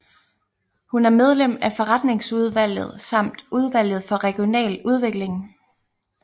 Hun er medlem af forretningsudvalget samt udvalget for regional udvikling